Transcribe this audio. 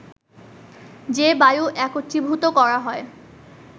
যে বায়ু একত্রীভূত করা হয়